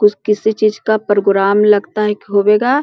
कुछ कोई चीज का प्रोग्राम लगता है कि होवेगा।